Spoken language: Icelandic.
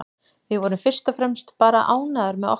Við vorum fyrst og fremst bara ánægðar með okkar leik.